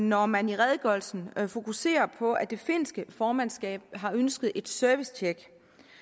når man i redegørelsen fokuserer på at det finske formandskab har ønsket et servicetjek